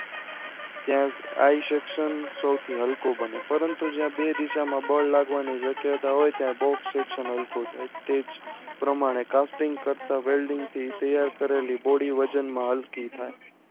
ત્યાં આ section નો સૌથી હલકું બને પરંતુ જ્યાં બે દિશામાં બલ લાગવાણી વ્યાખ્યતા હોય ત્યાં box section હલકું થાય તેજ પ્રમાણે casting તથા વેલ્ડિંગ થી તૈયાર કરેલી ગોળી વજનમાં હલકી થાય